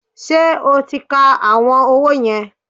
Ṣé o ti ka àwọn owó yẹn?